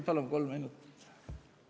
Palun kolm minutit!